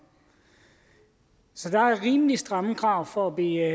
så der er rimelig stramme krav for at blive